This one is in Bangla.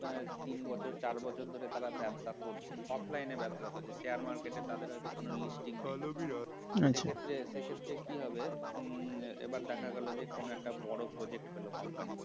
মানে তিন বছর চার বছর ধরে তারা ব্যবসা করছে offline এ ব্যবসা করছে share market তাদের হয়ত কোনো listing নেই আচ্ছা সেক্ষেত্রে সে ক্ষেত্রে কি হবে উম এবার দেখা গেল কোন একটা বড় project পেল company